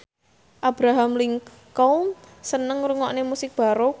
Abraham Lincoln seneng ngrungokne musik baroque